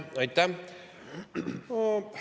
Aitäh!